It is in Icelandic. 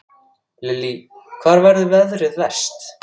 Lillý: Hvar verður veðrið verst?